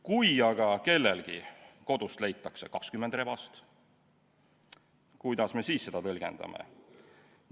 Kui aga kellegi kodust leitakse 20 rebast, kuidas me siis seda tõlgendame?